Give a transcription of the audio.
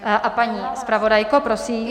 A paní zpravodajko, prosím?